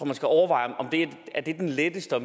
man skal overveje om det er den letteste og